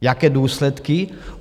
Jaké důsledky?